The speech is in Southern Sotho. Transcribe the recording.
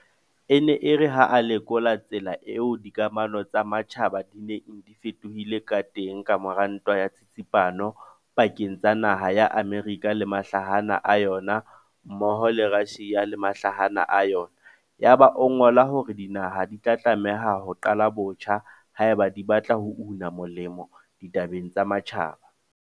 E ne e re ha a lekola tsela eo dikamano tsa matjhaba di neng di fetohile ka teng ka mora Ntwa ya Tsitsipano pakeng tsa naha ya Amerika le mahlahana a yona mmoho le ya Russia le mahlahana a yona, ya ba o ngola hore dinaha di tla tlameha ho "qala botjha" haeba di batla ho una molemo ditabeng tsa matjhaba.